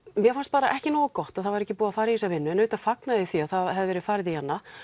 mér fannst bara ekki nógu gott að það væri ekki búið að fara í þessa vinnu og auðvitað fagna ég því að það hafi verið farið í hana